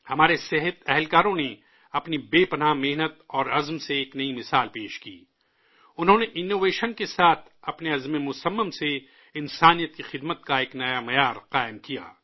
ہمارے طبی ملازمین نے اپنی بے پناہ کوششوں اور عزم سے ایک نئی مثال پیش کی، انہوں نے انوویشن کے ساتھ اپنے پختہ عزم سے انسانیت کی خدمت کا ایک نیا پیمانہ قائم کیا